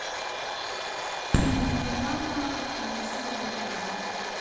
фильм мелодрама режиссер вуди аллен